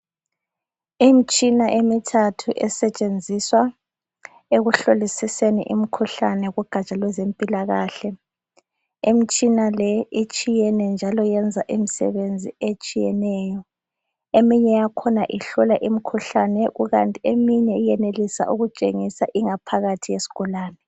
Imitshina emithathu esetshenziswa ekuhlolisiseni imkhuhlane kugatsha lwezempilakahle. Imitshina leyi itshiyene njalo iyenza imsebenzi etshiyeneyo eminye yakhona ihlola imkhuhlane kukanti eminye iyenelisa ukutshengisa ingaphakathi yesigulani.